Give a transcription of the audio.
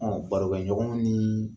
Ɔ barokɛɲɔgɔn ni